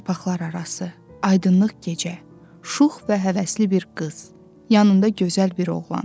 Yarpaqlar arası, aydınlıq gecə, şux və həvəsli bir qız, yanında gözəl bir oğlan.